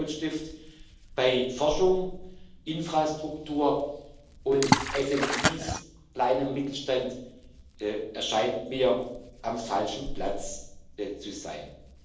sind. Der Rotstift bei Forschung, Infrastruktur und KMU kleinem Mittelstand scheint mir am falschen Platz zu